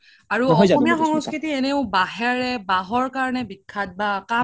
আৰু অসমীয়া সংস্কৃতি এনেও বাহেৰে বাহৰ কাৰনে বিশ্সাত বা